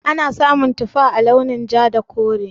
Ana samun tufa a launin ja da kore.